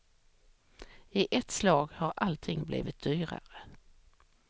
I ett slag har allting blivit dyrare.